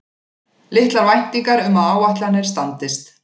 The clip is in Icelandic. Litlar væntingar um að áætlanir standist